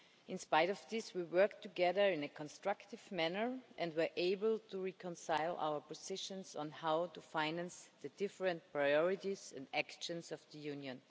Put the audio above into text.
In spite of this, we worked together in a constructive manner and were able to reconcile our positions on how to finance the different priorities and actions of the Union.